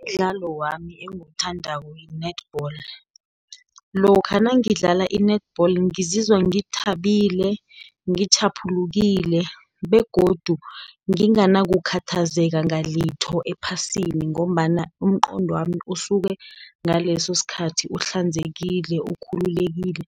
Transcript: Imidlalo wami engiwuthandako yi-netball, lokha nangidlala i-netball ngizizwa ngithabile, ngitjhaphulukile, begodu nginganakukhathazeka ngalitho ephasini, ngombana umqondwami usuke ngaleso sikhathi uhlanzekile, ukhululekile,